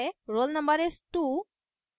roll no is: 2